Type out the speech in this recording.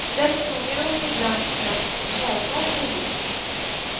Där sjunger hon ibland knappt hörbart med visk.